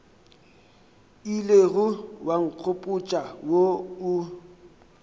ilego wa nkgopotša wo o